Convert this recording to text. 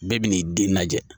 Bɛɛ b'i den lajɛ